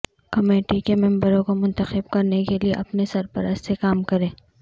committee کے ممبروں کو منتخب کرنے کے لئے اپنے سرپرست سے کام کریں